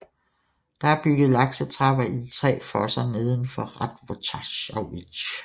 Der er bygget laksetrapper i de tre fosser neden for Rávttošavži